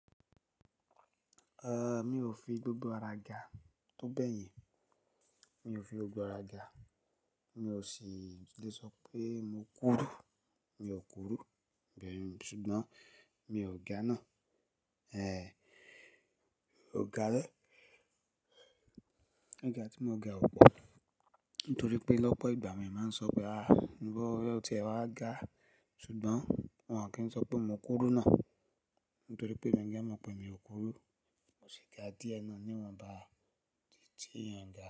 Eh mi ò fi gbogbo ara ga, tó bẹ́yìn mi ò fi gbogbo ara ga. Mi ò sì lè sọ pé mo kúru, mi ò kúru, bẹ́ẹ̀ ni. Ṣùgbọ́n mi ò ga náà. Eh ò ga rẹ́. Gíga ti mo ga ò pọ̀, nítoripé lọ́pọ̀ ìgbà àwọn èèyàn ma n so pé ah iwo o tiẹ̀ wáa ga ṣùgbọ́n won o kí n so pé mo kúrú náà nítorí pé èmi gan mọ̀ pé mi ò kúró, mo sì ga díẹ̀ náà ní ìwọ́nbá tí tí èèyàn n ga.